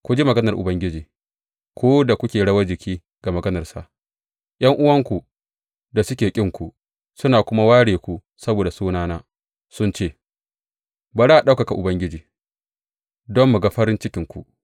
Ku ji maganar Ubangiji, ku da kuke rawar jiki ga maganarsa, ’Yan’uwanku da suke ƙinku, suna kuma ware ku saboda sunana, sun ce, Bari a ɗaukaka Ubangiji, don mu ga farin cikinku!’